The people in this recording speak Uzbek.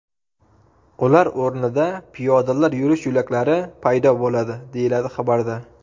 Ular o‘rnida piyodalar yurish yo‘laklari paydo bo‘ladi”, deyiladi xabarda.